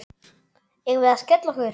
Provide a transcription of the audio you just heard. Eigum við að skella okkur?